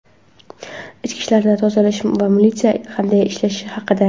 ichki ishlardagi "tozalash" va militsiya qanday ishlashi haqida.